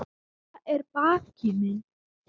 Vala er baggi minni.